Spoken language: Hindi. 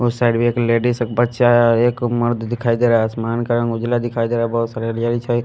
और साइड में एक लेडिस एक बच्चा एक मर्द दिखाई दे रहा है आसमान का रंग उजला दिखाई दे रहा है बहुत सारे